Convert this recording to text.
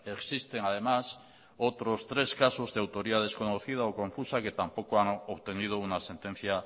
existen además otros tres casos de autoría desconocida o confusa que tampoco han obtenido una sentencia